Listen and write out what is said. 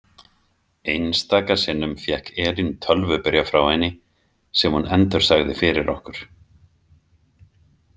Einstaka sinnum fékk Elín tölvubréf frá henni sem hún endursagði fyrir okkur.